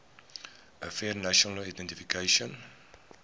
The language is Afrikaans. affairs national identification